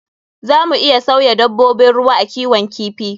Za mu iya sauya dabbobin ruwa a kiwon kifi.